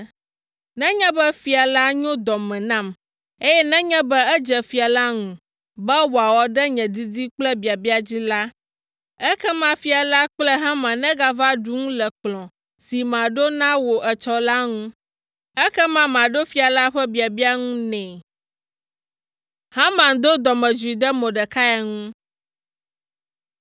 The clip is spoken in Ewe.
Nenye be fia la nyo dɔ me nam, eye nenye be edze fia la ŋu be wòawɔ ɖe nye didi kple biabia dzi la, ekema fia la kple Haman negava ɖu nu le kplɔ̃ si maɖo na wò etsɔ la ŋu. Ekema maɖo fia la ƒe biabia ŋu nɛ.”